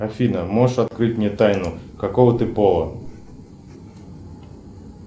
афина можешь открыть мне тайну какого ты пола